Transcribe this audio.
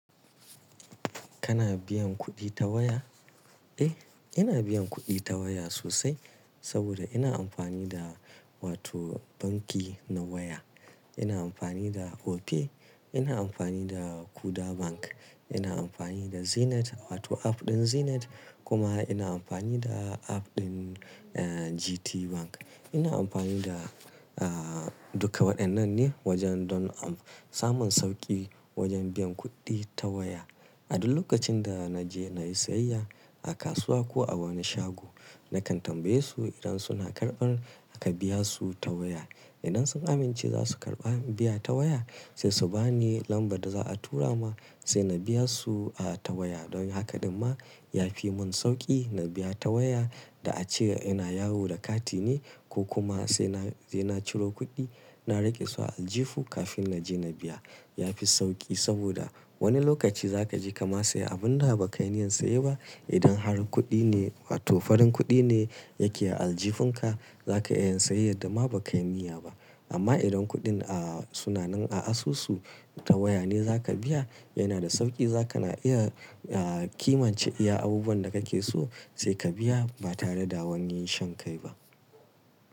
Kana biyan kuɗi ta waya? Eh, ina biyan kuɗi ta waya sosai saboda ina amfani da wato banki na waya. Ina amfani da Opay, ina amfani da Kuda Bank, ina amfani da Zenith wato app ɗin Zenith kuma ina amfani da app ɗin, eh GT Bank. Ina amfani da, ah duka waɗannan ne wajen don am-samun sauƙi wajen biyan kuɗi ta waya. A duk lokacin da na je na yi sayayya a kasuwa ko a wani shago nakan tambaye su idan suna karɓar ka biya su ta waya. Idan sun amince za su karɓa biya ta waya sai su ba ni lambar da za a tura ma sai na biya su ah ta waya. Don haka daga dima ya fi mun sauƙi na biya ta waya da a ce yana yawo da kati ne ko kuma sai na, sai na ciro kuɗi na raƙe su aljihu kafin na je na biya. Ya fi sauƙi saboda wani lokaci za ka je ka ma saya abunda ba ka yi niyyar saya ba. Idan har kuɗi ne wato farin kuɗi ne yake a aljihin ka, za ka iya sayayyar da ma ba ka yi niyya ba. Amma idan kuɗin ah suna nan a asusu ta waya ne za ka biya yana da sauƙi. Zaka na iya ah kimance iya abubuwan da kake so sai ka biya ba tare da wani yin shan kai ba.